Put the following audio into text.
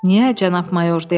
Niyə, cənab Mayor?